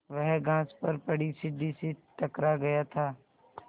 वह घास पर पड़ी सीढ़ी से टकरा गया था